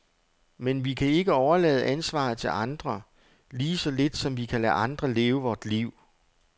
Men vi kan ikke overlade ansvaret til andre, lige så lidt som vi kan lade andre leve vort liv.